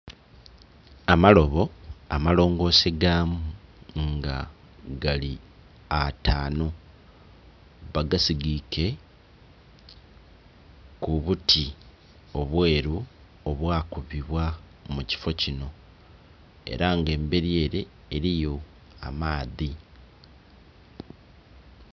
Amalobo amalongose gaamu nga gali ataanhu bagasigiike ku buti obwelu obwakubibwa mu kifo kinho. Ela nga embeli ele eliyo amaadhi.